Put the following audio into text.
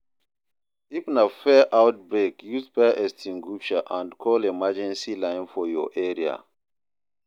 If na fire outbreak use fire extinguisher and call emergency line for your area